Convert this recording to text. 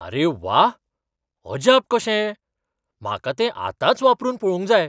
अरे व्वा, अजाप कशें ! म्हाका तेंआतांच वापरून पळोवंक जाय.